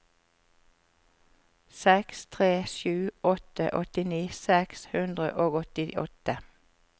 seks tre sju åtte åttini seks hundre og åttiåtte